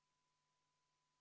Palun võtta seisukoht ja hääletada!